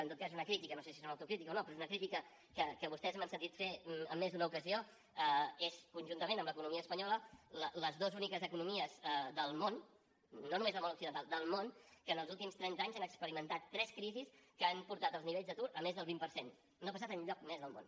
en tot cas una crítica no sé si és una autocrítica o no però és una crítica que vostès m’han sentit fer en més d’una ocasió és conjuntament amb l’economia espanyola les dues úniques economies del món no només del món occidental del món que en els últims trenta anys han experimentat tres crisis que han portat els nivells d’atur a més del vint per cent no ha passat enlloc més del món